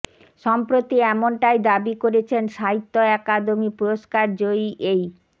সম্প্রতি এমনটাই দাবি করেছেন সাহিত্য আকাদেমি পুরস্কার জয়ী এই